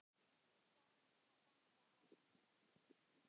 Til gamans má benda á